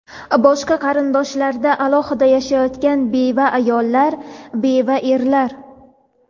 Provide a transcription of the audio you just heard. boshqa qarindoshlardan alohida yashayotgan beva ayollar (beva erlar);.